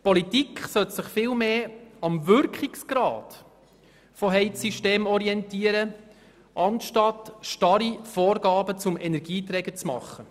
Die Politik sollte sich vielmehr am Wirkungsgrad von Heizsystemen orientieren, statt starre Vorgaben zum Energieträger zu machen.